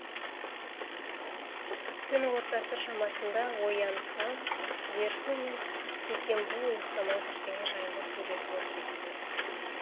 түн ортасы шамасында оянсам дерсу мен китенбу ұйықтамай бірдеңе жайында сөйлесіп отыр екен